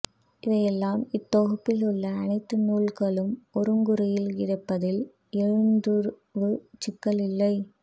இவையல்லாமல் இத்தொகுப்பில் உள்ள அனைத்து நூல்களும் ஒருங்குறியில் கிடைப்பதால் எழுத்துருச் சிக்கல் இல்லை